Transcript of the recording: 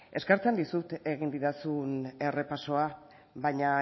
eskertzen dizut egin didazun errepasoa baina